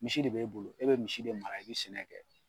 Misi de be e bolo e be misi de mara yen a be sɛnɛ kɛ